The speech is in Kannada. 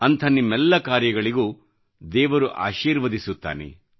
ಅಂಥ ನಿಮ್ಮೆಲ್ಲ ಕಾರ್ಯಗಳಿಗೆ ದೇವರು ಆಶೀರ್ವದಿಸುತ್ತಾನೆ